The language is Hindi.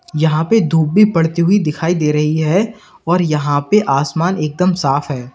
यहां पे धूप भी पड़ती हुई दिखाई दे रही है और यहां पे आसमान एकदम साफ है।